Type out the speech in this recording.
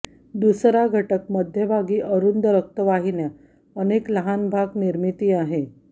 दुसरा घटक मध्यभागी अरुंद रक्तवाहिन्या अनेक लहान भाग निर्मिती आहे